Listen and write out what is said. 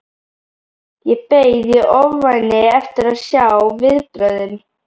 Ég beið í ofvæni eftir að sjá viðbrögðin.